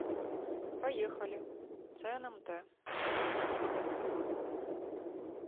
поехали цнмт